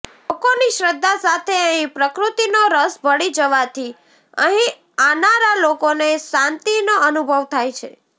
લોકોની શ્રદ્ધા સાથે અહિં પ્રકૃતિનો રસ ભળી જવાથી અહિં આનારા લોકોને શાંતિનો અનુભવ થાય છે